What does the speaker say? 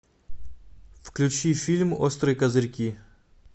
включи фильм острые козырьки